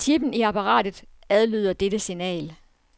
Chipen i apparatet adlyder dette signal.